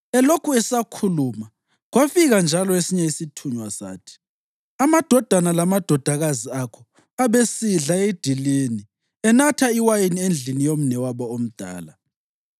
Elokhu esakhuluma kwafika njalo esinye isithunywa sathi, “Amadodana lamadodakazi akho abesidla edilini enatha iwayini endlini yomnewabo omdala,